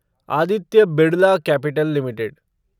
Aditya Birla Capital limited